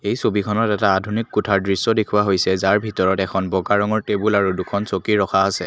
এই ছবিখনত এটা আধুনিক কোঠাৰ দৃশ্য দেখুওৱা হৈছে যাৰ ভিতৰত এখন বগা ৰঙৰ টেবুল আৰু দুখন চকী ৰখা আছে।